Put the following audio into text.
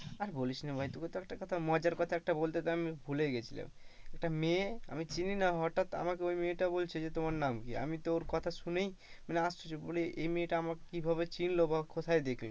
আর বলিস না ভাই তোকে তো একটা কথা মজার কথা একটা কথা তো বলতে ভুলেই গিয়েছিলাম একটা মেয়ে আমি চিনিই না হঠাৎ আমাকে ওই মেয়েটা বলছে যে তোমার নাম কি? আমি তো ওর কথা শুনেই মানে আশ্চর্য বলি এই মেয়েটা আমাকে কিভাবে চিনলো কোথায় দেখলো?